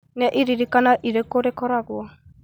nĩ iririkania irĩkũ rikoragwo